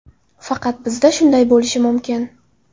Faqat bizda shunday bo‘lishi mumkin.